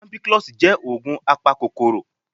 Ampiclox jẹ́ ògùn apakòkòrò